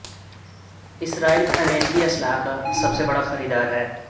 اسرائیل امریکی اسلحہ کا سب سے بڑا خریدار ہے